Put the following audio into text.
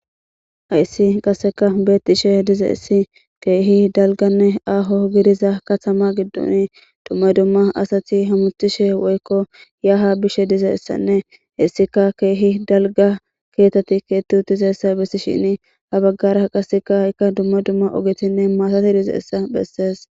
hayssi qasseka beettishe dizeessi keehi dalganne aaho gidiza katama giddon dumma dumma asati hamuthishe woykko yaha bishe dizeessanne hessika keehi dalga keeteti keetu utizessa bessi shini ha baggara qaseka haykka dumma dumma ogetinne maatati dizeessa bessees